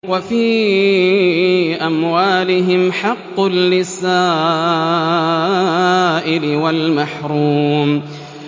وَفِي أَمْوَالِهِمْ حَقٌّ لِّلسَّائِلِ وَالْمَحْرُومِ